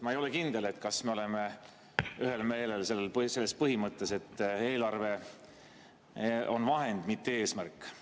Ma ei ole kindel, kas me oleme ühel meelel selles, põhimõte, et eelarve on vahend, mitte eesmärk.